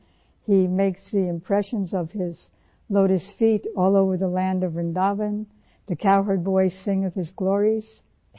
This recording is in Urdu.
انہوں نے اپنے کمل جیسے پیروں کی پورے ورندا وَن میں چھاپ چھوڑی ہے